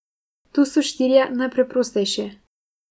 Tu so štirje najpreprostejši ...